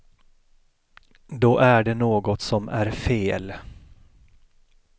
Då är det något som är fel.